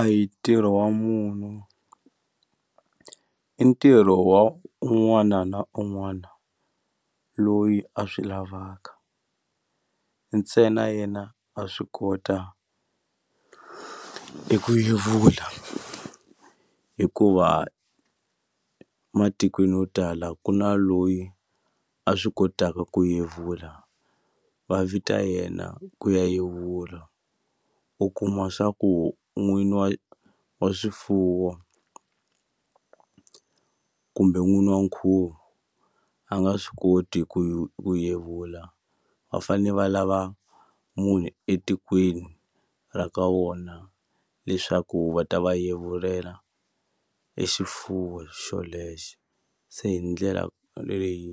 A hi ntirho wa munhu i ntirho wa un'wana na un'wana loyi a swi lavaka ntsena yena a swi kota eku yevula hikuva matikweni yo tala ku na loyi a swi kotaka ku yevula va vita yena ku ya yevula u kuma swa ku n'wini wa wa swifuwo kumbe n'wini wa nkhuvo a nga swi koti ku ye yevula va fane va lava munhu etikweni ra ka vona leswaku va ta va yevulela e xifuwo xolexo se hi ndlela leyi